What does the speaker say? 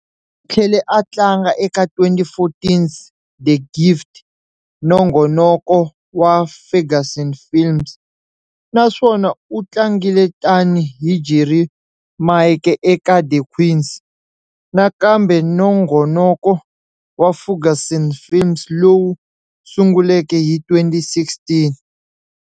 Tlhele a tlanga eka 2014's"The Gift", nongonoko wa Ferguson Films, naswona u tlangile tani hi Jerry Maake eka "The Queen", nakambe nongonoko wa Ferguson Films lowu sunguleke hi 2016.